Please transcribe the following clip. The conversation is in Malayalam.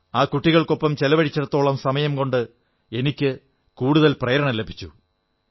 ആ കുട്ടികൾക്കൊപ്പം ചെലവഴിച്ചിടത്തോളം സമയം കൊണ്ട് എനിക്കു പ്രേരണ ലഭിച്ചു